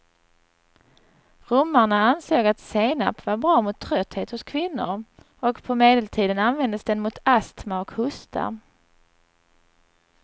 Romarna ansåg att senap var bra mot trötthet hos kvinnor och på medeltiden användes den mot astma och hosta.